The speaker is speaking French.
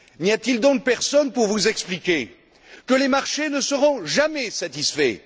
N'y a t il donc personne pour vous expliquer que les marchés ne seront jamais satisfaits?